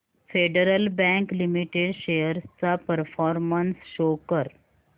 federal Bank Limited shares चा performance show कर